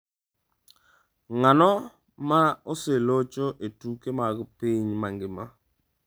Ng’ano ma oselocho e tuke mag piny mangima?